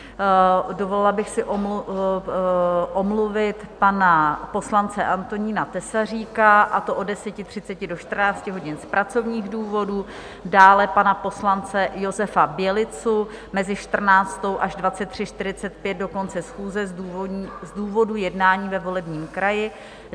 Dovolila bych si omluvit pana poslance Antonína Tesaříka, a to od 10.30 do 14 hodin z pracovních důvodů, dále pana poslance Josefa Bělicu mezi 14.00 až 23.45, do konce schůze, z důvodu jednání ve volebním kraji.